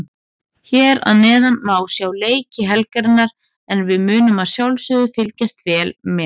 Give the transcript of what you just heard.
Hér að neðan má sjá leiki helgarinnar en við munum að sjálfsögðu fylgjast vel með.